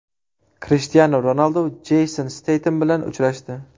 Krishtianu Ronaldu Jeyson Steytem bilan uchrashdi.